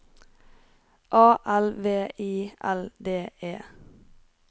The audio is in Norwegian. A L V I L D E